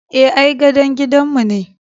Eh, ai gadon gidanmu ne.